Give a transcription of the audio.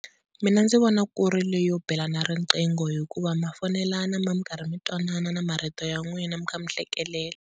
Mina ndzi vona ku ri leyo belana riqingho hikuva ma foyinelana mi karhi mi twanana na marito ya n'wina mi kha mi hlekelela.